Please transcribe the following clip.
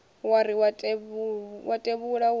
wa ri wa tevhula wo